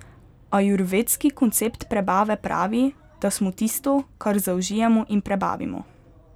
Ajurvedski koncept prebave pravi, da smo tisto, kar zaužijemo in prebavimo.